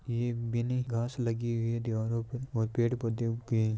ये विनी घास लगी हुई है दीवारों पे और पेड़ पौधे उगे है।